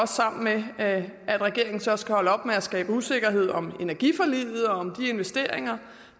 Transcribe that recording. sammen med at regeringen så skal holde op med at skabe usikkerhed om energiforliget og om de investeringer